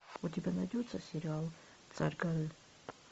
у тебя найдется сериал царь горы